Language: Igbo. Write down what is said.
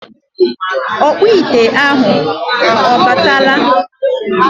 ọkpụ ite ahụ ọ bịarutela?